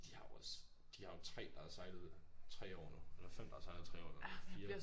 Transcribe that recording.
De har jo også de har jo 3 der har sejlet 3 år nu eller 5 der har sejlet i 3 år nu 4